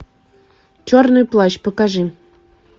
черный плащ покажи